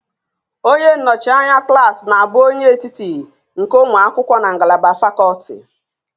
Onye nnọchi anya klaasị na-abụ onye etiti nke ụmụ akwụkwọ na ngalaba fakọlti